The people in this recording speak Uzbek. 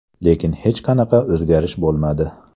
Lekin hech qanaqa o‘zgarish bo‘lmadi.